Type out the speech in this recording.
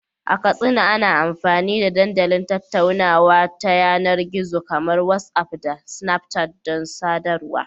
A Katsina, ana amfani da dandalin tattaunawa ta yanar gizo kamar WhatsApp da Snapchat don sadarwa.